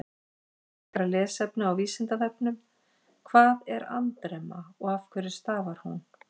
Frekara lesefni á Vísindavefnum: Hvað er andremma og af hverju stafar hún?